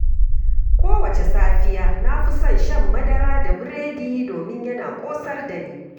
Kowace safiya, na fi son shan madara da biredi domin yana ƙosar dani.